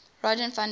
rogier van der